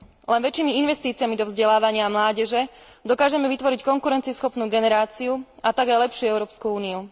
Len väčšími investíciami do vzdelávania mládeže dokážeme vytvoriť konkurencieschopnú generáciu, a tak aj lepšiu Európsku úniu.